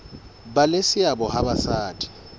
ba le seabo ha basadi